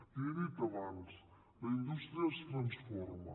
l’hi he dit abans la indústria es transforma